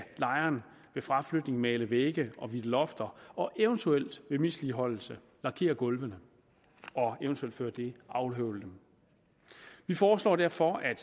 lejeren ved fraflytning male vægge og hvidte lofter og eventuelt ved misligholdelse lakere gulvene og eventuelt før det afhøvle dem vi foreslår derfor at